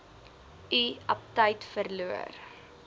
u aptyt verloor